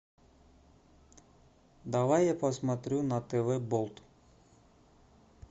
давай я посмотрю на тв болт